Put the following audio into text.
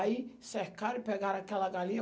Aí cercaram e pegaram aquela galinha.